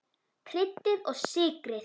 Kryddið og sykrið.